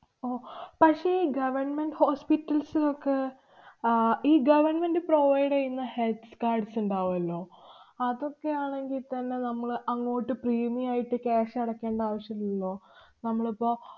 ഓ, പക്ഷേ government hospitals നൊക്കെ, ഈ government provide എയ്യുന്ന healths cards ഒണ്ടാവൂല്ലോ? അതൊക്കെ ആണെങ്കിത്തന്നെ നമ്മള് അങ്ങോട്ട് premium ആയിട്ട് cash അടയ്ക്കേണ്ട ആവശ്യമില്ലല്ലൊ. നമ്മളിപ്പൊ